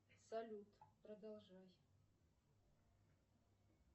салют продолжай